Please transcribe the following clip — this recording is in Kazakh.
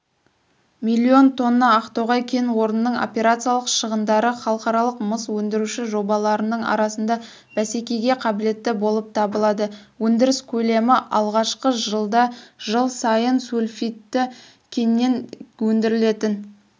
миллион тонна ақтоғай кен орнының операциялық шығындары халықаралық мыс өндіруші жобаларының арасында бәсекегеқабілеттіболыптабылады өндіріскөлеміалғашқы жылдажылсайынсульфидтікеннен өндірілетін